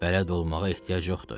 Bələd olmağa ehtiyac yoxdur.